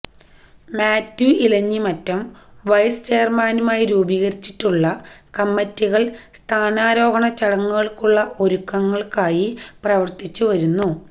Mathew Elanjimattom vice ചെയർമാനുമായി രൂപീകരിച്ചിട്ടുള്ള കമ്മറ്റികൾ സ്ഥാനാരോഹണ ചടങ്ങുകൾക്കുള്ള ഒരുക്കങ്ങൾക്കായി പ്രവർത്തിച്ചു വരുന്നു